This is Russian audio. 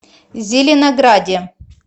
зеленограде